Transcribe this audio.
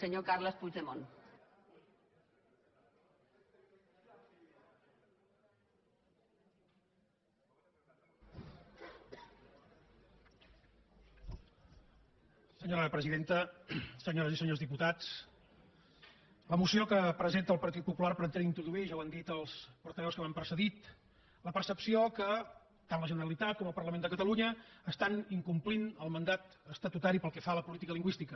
senyora presidenta senyores i senyors diputats la moció que presenta el partit popular pretén introduir ja ho han dit els portaveus que m’han precedit la percepció que tant la generalitat com el parlament de catalunya incompleixen el mandat estatutari pel que fa a la política lingüística